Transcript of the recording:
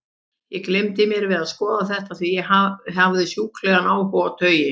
Ég gleymdi mér við að skoða þetta, því ég hafði sjúklegan áhuga á taui.